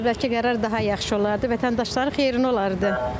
Əvvəlki qərar daha yaxşı olardı, vətəndaşların xeyrinə olardı.